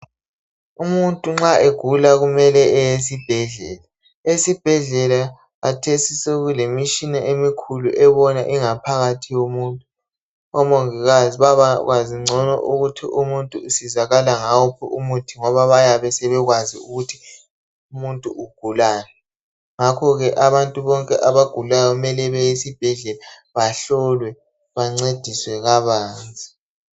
Umuntu nxa egula kumele aye esibhedlela, esibhedlela khathesi sekule mitshina ebona ingaphakathi yomuntu kwenza omongikazi benelise ukunceda umuntu. Ngakho ke abantu kumele ma gula baye esibhedlela bayehlolwa